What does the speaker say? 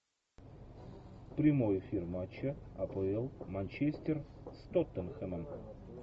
прямой эфир матча апл манчестер с тоттенхэмом